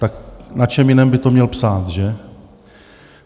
Tak na čem jiném by to měl psát, že?